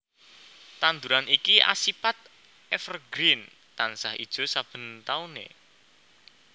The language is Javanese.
Tanduran iki asipat evergreen tansah ijo saben taune